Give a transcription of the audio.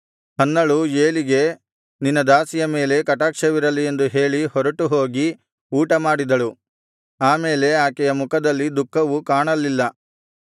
ಹನ್ನಳು ಏಲಿಗೆ ನಿನ್ನ ದಾಸಿಯ ಮೇಲೆ ಕಟಾಕ್ಷವಿರಲಿ ಎಂದು ಹೇಳಿ ಹೊರಟುಹೋಗಿ ಊಟಮಾಡಿದಳು ಆ ಮೇಲೆ ಆಕೆಯ ಮುಖದಲ್ಲಿ ದುಃಖವು ಕಾಣಲಿಲ್ಲ